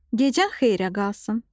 Gecən xeyrə qalsın.